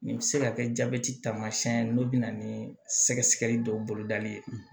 Nin bɛ se ka kɛ jabɛti tamasiyɛn ye n'o bɛ na ni sɛgɛsɛgɛli dɔw bolodali ye